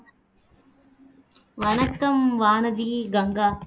வணக்கம் வானதி, கங்கா